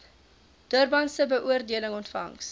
durbanse beoordeling ontvangs